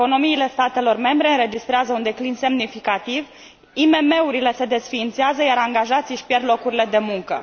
Economiile statelor membre înregistrează un declin semnificativ, IMM urile se desființează, iar angajații își pierd locurile de muncă.